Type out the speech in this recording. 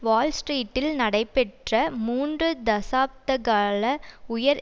வால் ஸ்ட்ரீட்டில் நடைபெற்ற மூன்று தசாப்தகால உயர்